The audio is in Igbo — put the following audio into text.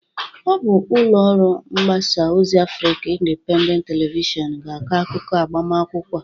Ọ bụ ụlọ ọrụ mgbasa ozi Afrikan Indịpendent Televishọn ga-akọ akụkụ agbamakwụkwọ a.